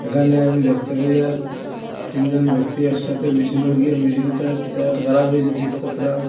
এখানে আমি দেখতে পাই আর তিনজন ব্যক্তি একসাথে মেশিনে গিয়া মেশিনটা কিটা একটা খারাপ হয়েছে ঠিক কতরাম।